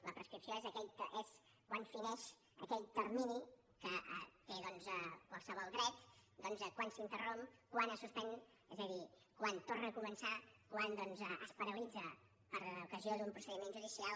la prescripció és quan fineix aquell termini que té doncs qualsevol dret quan s’interromp quan es suspèn és a dir quan torna a començar quan es paralitza per ocasió d’un procediment judicial